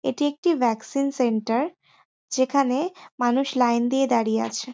এটি একটি vaccine centre যেখানে মানুষ লাইন দিয়ে দাঁড়িয়ে আছে।